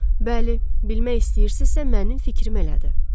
Bəli, bilmək istəyirsinizsə, mənim fikrim elədi.